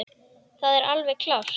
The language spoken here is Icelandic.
Það er alveg klárt.